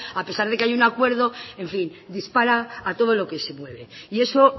a pesar de que hay un acuerdo en fin dispara a todo lo que se mueve y eso